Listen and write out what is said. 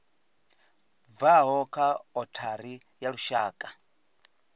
bvaho kha othari ya lushaka